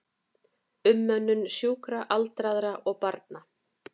Umönnun sjúkra, aldraðra og barna.